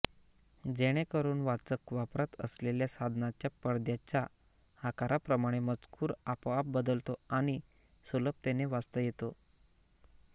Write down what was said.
जेणेकरून वाचक वापरत असलेल्या साधनाच्या पडद्याच्या आकाराप्रमाणे मजकूर आपोआप बदलतो आणि सुलभतेने वाचता येतो